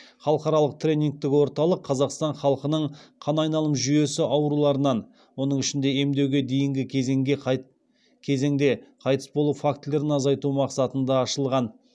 халықаралық тренингтік орталық қазақстан халқының қан айналымы жүйесі ауруларынан оның ішінде емдеуге дейінгі кезеңде қайтыс болу фактілерін азайту мақсатында ашылған